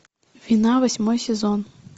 вина восьмой сезон